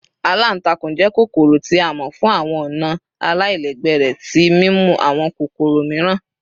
Àlàntàkùn jẹ́ kokoro ti a mọ fun awọn ọna alailẹgbẹ rẹ ti mimu awọn kokoro miiran